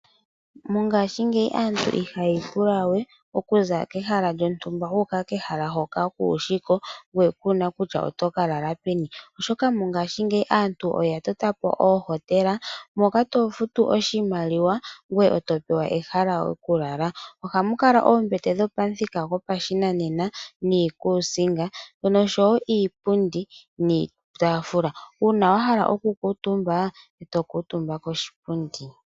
Mongaashingeyi aantu ihayiipula we okuza kehala lyontumba wuuka kehala hoka kuushiko ngoye kuuna kutya otokalala peni, oshoka mongaashingeyi aantu oya totapo ooHotela moka tofutu oshimaliwa ngoye topewa ehala lyokulala. Ohamukala oombete dhopamuthika gopashinanena niikuusinga nosho wo iipundu niitaafula. Uuna wahala okukuutumba eto kuutumba koshipundi.